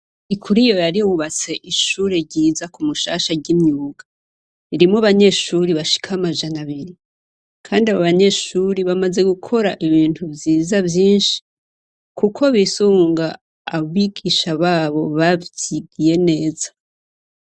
Ikuri yo yari wubatse ishure ryiza ku mushasha ry'imyuga ririmo banyeshuri bashika amajana abiri, kandi abo banyeshuri bamaze gukora ibintu vyiza vyinshi, kuko bisunga abigisha babo bavyigiye neza.